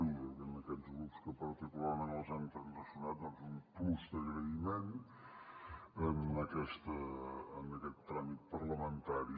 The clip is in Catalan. i a aquests grups amb que particularment les hem transaccionat doncs un plus d’agraïment en aquest tràmit parlamentari